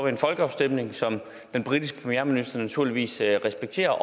en folkeafstemning som den britiske premierminister naturligvis respekterer